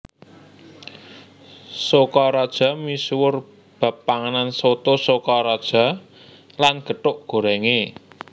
Sokaraja misuwur bab panganan Soto Sokaraja lan gethuk gorèngé